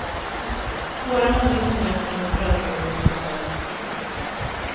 Tårarna rinner nerför hennes rödblommiga kinder.